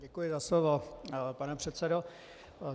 Děkuji za slovo, pane předsedo.